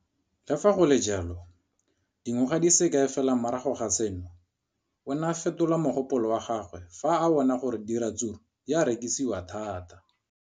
Le fa go le jalo, dingwaga di se kae fela morago ga seno, o ne a fetola mogopolo wa gagwe fa a bona gore diratsuru di rekisiwa thata.